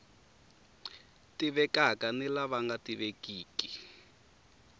tivekaka ni lava nga tivekiki